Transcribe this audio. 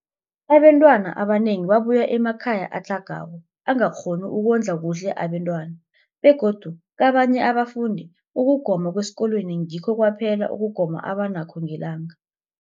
Abantwana abanengi babuya emakhaya atlhagako angakghoni ukondla kuhle abentwana, begodu kabanye abafundi, ukugoma kwesikolweni ngikho kwaphela ukugoma abanakho ngelanga.